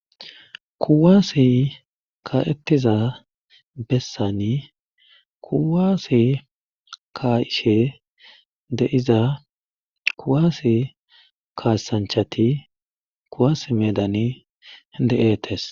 kuwaase ka'etiza bessani kuwaase ka'ashe de'iza kuwaase kaasanchati kuwas meedani de'eetes